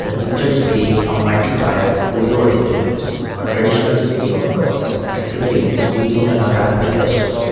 picture displays a multi tiered golu arrangements a traditional display of dolls and figurines during a navratri festival.